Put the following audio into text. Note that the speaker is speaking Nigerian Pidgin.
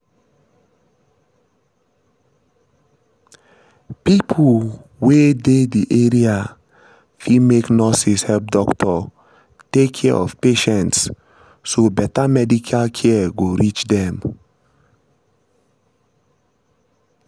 pipo wey dey the area fit make nurses help doctors take care of patients so better medical care go reach dem